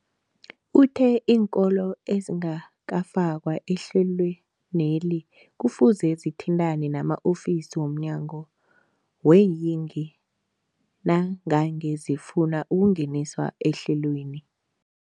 Uthe iinkolo ezingakafakwa ehlelweneli kufuze zithintane nama-ofisi wo mnyango weeyingi nangange zifuna ukungeniswa ehlelweni.